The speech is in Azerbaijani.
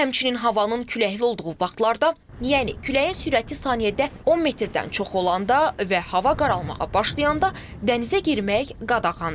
Həmçinin havanın küləkli olduğu vaxtlarda, yəni küləyin sürəti saniyədə 10 metrdən çox olanda və hava qaralmağa başlayanda dənizə girmək qadağandır.